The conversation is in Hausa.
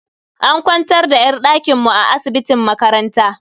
An kwantar da yar dakin mu a asibitin makaranta.